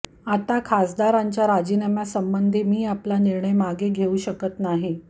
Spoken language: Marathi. आता खासदारांच्या राजीनाम्यासंबंधी मी आपला निर्णय मागे घेऊ शकत नाही